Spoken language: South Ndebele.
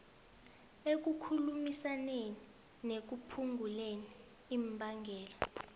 ekukhulumisaneni nekuphunguleni imbangela